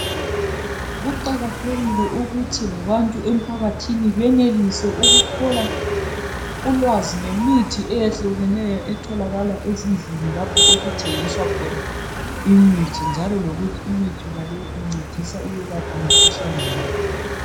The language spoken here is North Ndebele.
Kuqakathekile ukuthi labantu emphakathini benelise ukuthola ulwazi ngemithi eyehlukeneyo eyetholakala ezindlini lapho okuthengiswa khona imithi njalo lokuthi imithi yonaleyo incedisa ukwelapha mikhuhlane bani